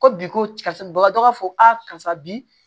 Ko bi ko karisa bagatɔ b'a fɔ a karisa bi